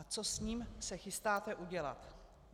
A co se s ním chystáte udělat?